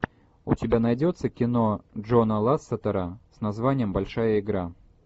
у тебя найдется кино джона лассетера с названием большая игра